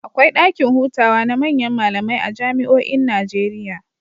Akwai ɗakin hutawa na manyan malamai a jami'oin Najeriya.